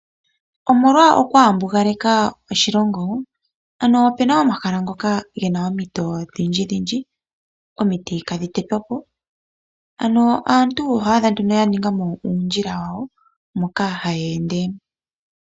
Omolwa okwaambugaleka oshilongo ano opena omahala gamwe ngoka gena omiti odhindjidhindji ano omiti dhoka ihadhi tetwa po ,oto adha nduno aantu ya ninga mo uundjilq wawo moka haya ende.